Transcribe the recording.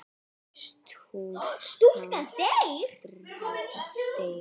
Stúlkan deyr.